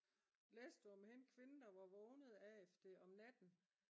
læste du om hende kvinden der var vågnet af det om natten?